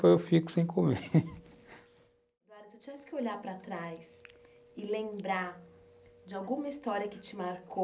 Eu fico sem comer olhar para trás e lembrar de alguma história que te marcou,